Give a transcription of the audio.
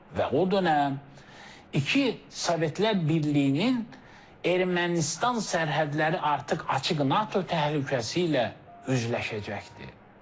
Və o dönəm iki Sovetlər Birliyinin Ermənistan sərhədləri artıq açıq NATO təhlükəsi ilə üzləşəcəkdi.